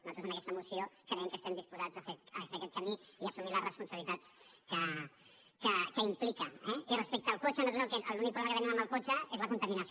nosaltres en aquesta moció creiem que estem disposats a fer aquest camí i a assumir les responsabilitats que implica eh i respecte al cotxe nosaltres l’únic problema que tenim amb el cotxe és la contaminació